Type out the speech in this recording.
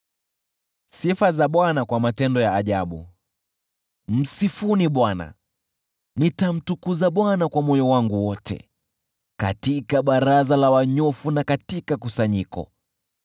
Msifuni Bwana . Nitamtukuza Bwana kwa moyo wangu wote, katika baraza la wanyofu na katika kusanyiko.